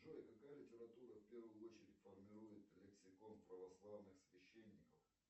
джой какая литература в первую очередь формирует лексикон православных священников